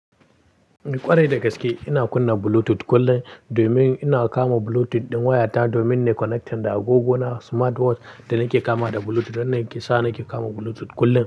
Kwarai da gaske ina kunna Bluetooth kullum domin ina kama Bluetooth ɗin wayata domin ne connecting da agogona smartwatch da nake kama da Bluetooth. Wannan yake sa nake kama Bluetooth kullum.